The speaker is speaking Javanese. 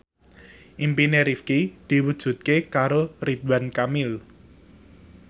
impine Rifqi diwujudke karo Ridwan Kamil